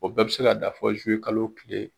O bɛɛ bi se ka dan fɔ kalo tile.